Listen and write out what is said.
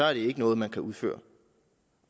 er det ikke noget man kan udføre